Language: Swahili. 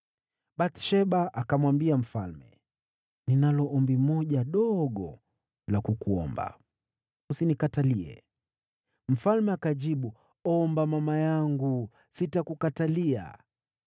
Bathsheba akamwambia mfalme, “Ninalo ombi moja dogo la kukuomba; usinikatalie.” Mfalme akajibu, “Omba, mama yangu; sitakukatalia.”